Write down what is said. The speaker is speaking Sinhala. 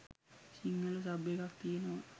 සිංහල සබ් එකක් තියෙනවා